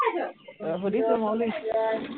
সুধিছো, মই মানে